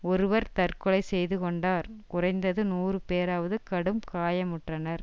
ஒருவர் தற்கொலை செய்து கொண்டார் குறைந்தது நூறு பேராவது கடும் காயமுற்றனர்